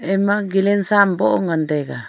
ema galan sa am boh ngan taiga.